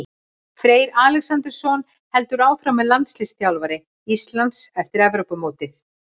Freyr Alexandersson heldur áfram sem landsliðsþjálfari Íslands eftir Evrópumótið.